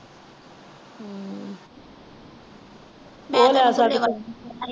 ਉਹ ਲੈ ਸਕਦੀ।